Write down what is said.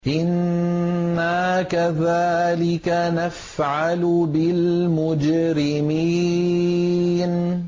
إِنَّا كَذَٰلِكَ نَفْعَلُ بِالْمُجْرِمِينَ